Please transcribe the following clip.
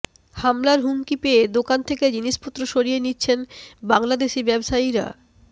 হামলার হুমকি পেয়ে দোকান থেকে জিনিসপত্র সরিয়ে নিচ্ছেন বাংলাদেশি ব্যবসায়ীরা